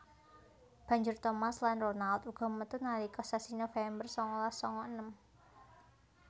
Banjur Thomas lan Ronald uga metu nalika sasi November sangalas sanga enem